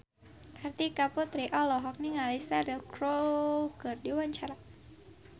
Kartika Putri olohok ningali Cheryl Crow keur diwawancara